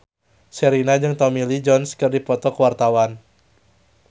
Sherina jeung Tommy Lee Jones keur dipoto ku wartawan